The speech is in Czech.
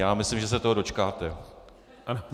Já myslím, že se toho dočkáte.